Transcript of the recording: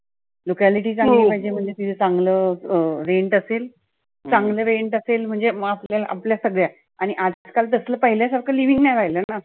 locality चांगली पाहिजे म्हणजे तिथं चांगलं rent असेल. चांगल rent असेल म्हणजे मग आपल्याला आपल्या सगळ्या आणि आजकाल तसलं पहिल्यासारख living नाही राहिलं ना.